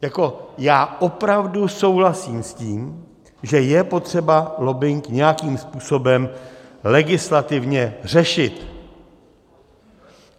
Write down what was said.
Jako já opravdu souhlasím s tím, že je potřeba lobbing nějakým způsobem legislativně řešit.